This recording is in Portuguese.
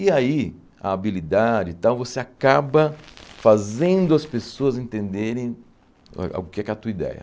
E aí, a habilidade e tal, você acaba fazendo as pessoas entenderem ãh o que é que é a tua ideia.